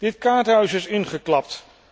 Dit kaartenhuis is ingeklapt.